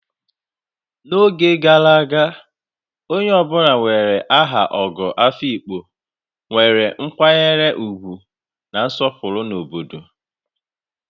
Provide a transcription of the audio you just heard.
N'oge gara aga, onye ọ bụla nwere aha Ogo Afikpo nwere nkwanye ugwu na nsopuru na obodo.